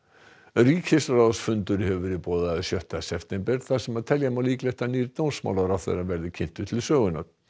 ríkisráðsfundur hefur verið boðaður sjötta september þar sem telja má líklegt að nýr dómsmálaráðherra verði kynntur til sögunnar